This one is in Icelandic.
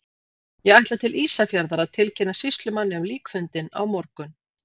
Ég ætla til Ísafjarðar að tilkynna sýslumanni um líkfundinn á morgun.